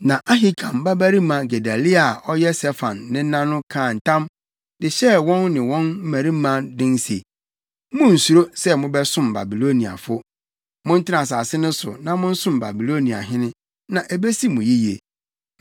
Na Ahikam babarima Gedalia a ɔyɛ Safan nena no kaa ntam de hyɛɛ wɔn ne wɔn mmarima den se, “Munnsuro sɛ mobɛsom Babiloniafo. Montena asase no so na monsom Babiloniahene, na ebesi mo yiye.